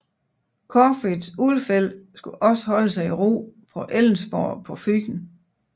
Corfitz Ulfeldt skulle også holde sig i ro på Ellensborg på Fyn